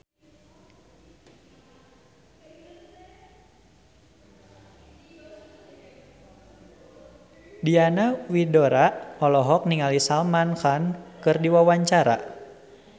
Diana Widoera olohok ningali Salman Khan keur diwawancara